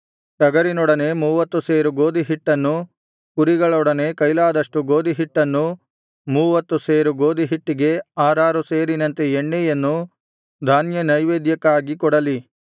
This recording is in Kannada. ಟಗರಿನೊಡನೆ ಮೂವತ್ತು ಸೇರು ಗೋದಿಹಿಟ್ಟನ್ನೂ ಕುರಿಗಳೊಡನೆ ಕೈಯಲಾದಷ್ಟು ಗೋದಿಹಿಟ್ಟನ್ನೂ ಮೂವತ್ತು ಸೇರು ಗೋದಿಹಿಟ್ಟಿಗೆ ಆರಾರು ಸೇರಿನಂತೆ ಎಣ್ಣೆಯನ್ನೂ ಧಾನ್ಯನೈವೇದ್ಯಕ್ಕಾಗಿ ಕೊಡಲಿ